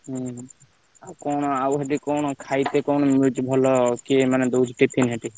ହୁଁ ଆଉ କଣ ଆଉ ସେଠି କଣ କଣ ମିଳୁଛି ଭଲ କିଏ ମାନେ ଦଉଚି ଭଲ tiffin ସେଠି?